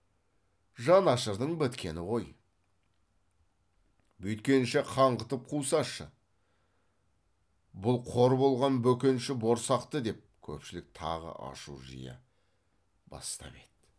жан ашырдың біткені ғой бүйткенше қаңғытып қусашы бұл қор болған бөкенші борсақты деп көпшілік тағы ашу жия бастап еді